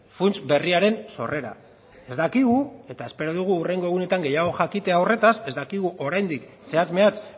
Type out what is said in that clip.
funts berriaren sorrera ez dakigu eta espero dugu hurrengo egunetan gehiago jakitea horretaz ez dakigu oraindik zehatz mehatz